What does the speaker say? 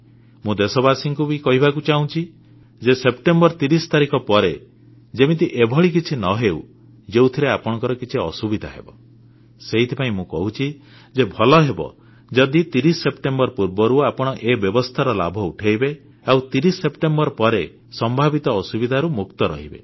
ମୁଁ ଦେଶବାସୀଙ୍କୁ ବି କହିବାକୁ ଚାହୁଁଛି ଯେ ସେପ୍ଟେମ୍ବର 30 ତାରିଖ ପରେ ଯେମିତି ଏଭଳି କିଛି ନ ହେଉ ଯେଉଁଥିରେ ଆପଣଙ୍କର କିଛି ଅସୁବିଧା ହେବ ସେଇଥିପାଇଁ ମୁଁ କହୁଛି ଯେ ଭଲ ହେବ ଯଦି 30 ସେପ୍ଟେମ୍ବର ପୂର୍ବରୁ ଆପଣ ଏ ବ୍ୟବସ୍ଥାର ଲାଭ ଉଠାଇବେ ଆଉ 30 ସେପ୍ଟେମ୍ବର ପରେ ସମ୍ଭାବିତ ଅସୁବିଧାରୁ ମୁକ୍ତ ରହିବେ